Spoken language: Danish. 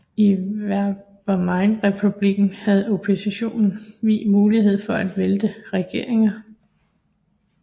I Weimarrepublikken havde oppositionen vid mulighed for at vælte regeringer